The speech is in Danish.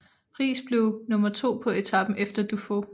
Riis blev nummer to på etapen efter Dufaux